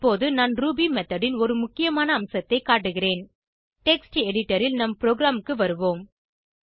இப்போது நான் Ruby method ன் ஒரு முக்கியமான அம்சத்தை காட்டுகிறேன் டெக்ஸ்ட் எடிட்டர் ல் நம் ப்ரோகிராமுக்கு வருவோம்